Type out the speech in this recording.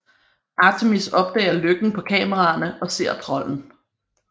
Artemis opdager løkken på kameraerne og ser trolden